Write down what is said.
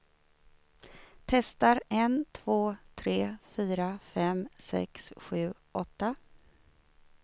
Testar en två tre fyra fem sex sju åtta.